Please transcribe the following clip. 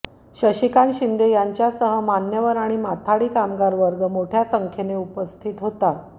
शशिकांत शिंदे यांच्यासह मान्यवर आणि माथाडी कामगार वर्ग मोठ्या संख्येने उपस्थित होता